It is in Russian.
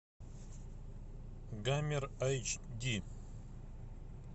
гамер айч ди